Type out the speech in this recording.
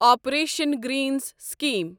operation greens scheme